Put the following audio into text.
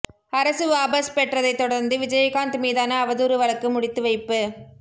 அரசு வாபஸ் பெற்றதைத் தொடா்ந்து விஜயகாந்த் மீதான அவதூறு வழக்கு முடித்துவைப்பு